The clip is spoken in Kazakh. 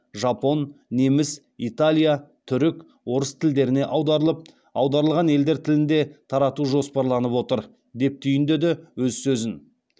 жапон неміс италия түрік орыс тілдеріне аударылып аударылған елдер тілінде тарату жоспарланып отыр деп түйіндеді өз сөзін